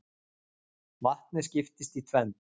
vatnið skiptist í tvennt